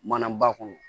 Mana ba kɔnɔ